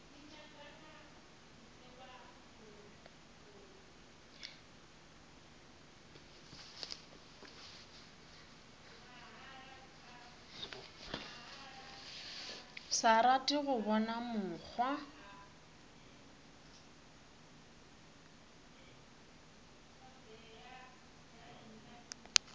sa rate go bona mokgwa